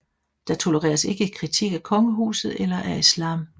Der tolereres ikke kritik af kongehuset eller af islam